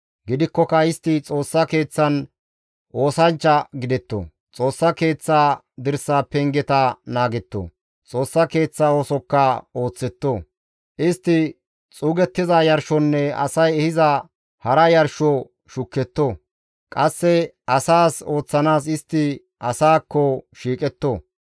Gidikkoka istti Xoossa Keeththan oosanchcha gidetto; Xoossa Keeththa dirsa pengeta naagetto; Xoossa Keeththa oosokka ooththetto. Istti xuuggiza yarshonne asay ehiza hara yarsho shuketto; qasse asaas ooththanaas istti asaakko shiiqetto.